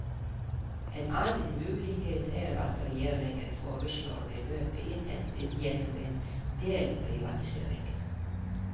En annen mulighet er at regjeringen foreslår beløpet innhentet gjennom en delprivatisering.